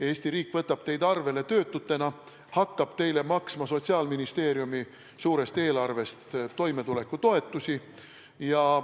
Eesti riik võtab teid arvele töötutena, hakkab teile maksma Sotsiaalministeeriumi suurest eelarvest toimetulekutoetusi.